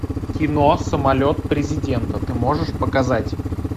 кино самолет президента ты можешь показать